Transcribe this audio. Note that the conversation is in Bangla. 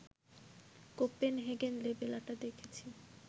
‘কোপেনহেগেন’ লেবেল আঁটা দেখেছি